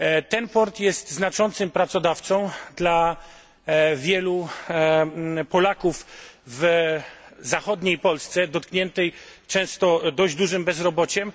Ten port jest znaczącym pracodawcą dla wielu Polaków w zachodniej Polsce, dotkniętej często dość dużym bezrobociem.